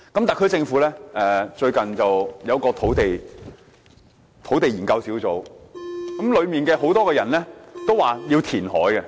特區政府最近成立了一個土地供應專責小組，當中不少成員主張填海。